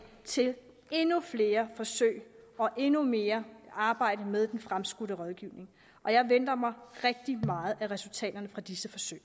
til endnu flere forsøg og endnu mere arbejde med den fremskudte rådgivning og jeg venter mig rigtig meget af resultaterne fra disse forsøg